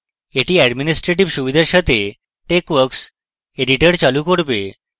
এটি administrator সুবিধাগুলির সাথে texworks editor চালু করবে